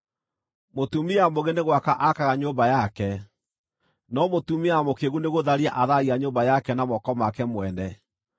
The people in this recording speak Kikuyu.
Mũtumia mũũgĩ nĩ gwaka akaga nyũmba yake, no mũtumia mũkĩĩgu nĩgũtharia atharagia nyũmba yake na moko make mwene.